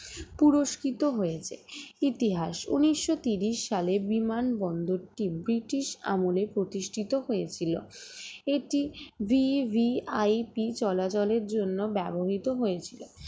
পুরস্কৃত হয়েছে ইতিহাস উনিশশো তিরিশ সালে বিমানবন্দরটি ব্রিটিশ আমলে প্রতিষ্ঠিত হয়েছিল এটি VVIP চলাচলের জন্য ব্যবহৃত হয়েছিল